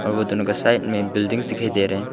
वो दोनों क साइड में बिल्डिंग्स दिखाई दे रहे है।